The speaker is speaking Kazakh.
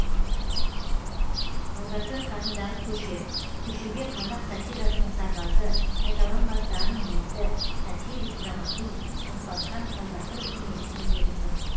әубәкіров атындағы көше көшеге қазақ сатирасының сарбазы қайталанбас дарын иесі сатирик драматург оспанхан әубәкіровтың есімі берілген